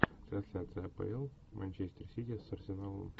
трансляция апл манчестер сити с арсеналом